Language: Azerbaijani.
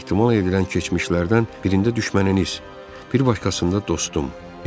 Ehtimal edilən keçmişlərdən birində düşməniniz, bir başqasında dostum.